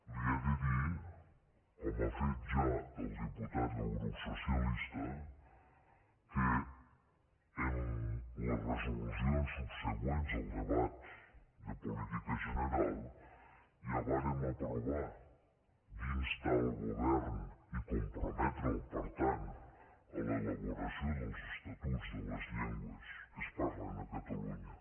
li he de dir com ha fet ja el diputat del grup socialistes que en les resolucions subsegüents al debat de política general ja vàrem aprovar d’instar el govern i comprometre’l per tant a l’elaboració dels estatuts de les llengües que es parlen a catalunya